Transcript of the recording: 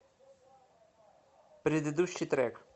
предыдущий трек